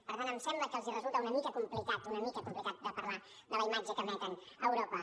per tant em sembla que els resulta una mica complicat una mica complicat de parlar de la imatge que emeten a europa